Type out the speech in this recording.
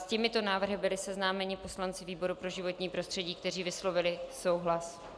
S těmito návrhy byli seznámeni poslanci výboru pro životní prostředí, kteří vyslovili souhlas.